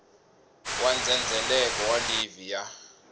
wa ndzhendzheleko wa livhi ya